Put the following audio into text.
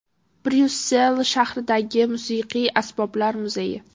Bryussel shahridagi Musiqiy asboblar muzeyi.